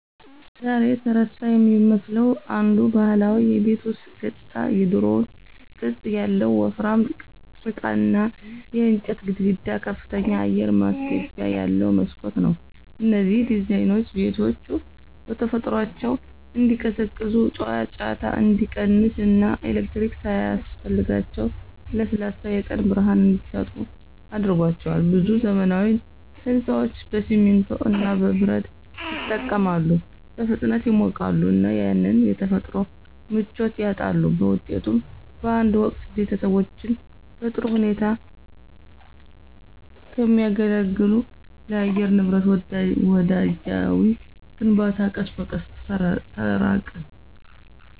ዛሬ የተረሳ የሚመስለው አንዱ ባህላዊ የቤት ውስጥ ገጽታ የድሮው ቅጥ ያለው ወፍራም ጭቃና የእንጨት ግድግዳ ከፍተኛ አየር ማስገቢያ ያለው መስኮት ነው። እነዚህ ዲዛይኖች ቤቶቹ በተፈጥሯቸው እንዲቀዘቅዙ፣ ጫጫታ እንዲቀንስ እና ኤሌክትሪክ ሳያስፈልጋቸው ለስላሳ የቀን ብርሃን እንዲሰጡ አድርጓቸዋል። ብዙ ዘመናዊ ሕንፃዎች በሲሚንቶ እና በብረት ይጠቀማሉ, በፍጥነት ይሞቃሉ እና ያንን የተፈጥሮ ምቾት ያጣሉ. በውጤቱም፣ በአንድ ወቅት ቤተሰቦችን በጥሩ ሁኔታ ከሚያገለግል ለአየር ንብረት ወዳጃዊ ግንባታ ቀስ በቀስ ተራቅን።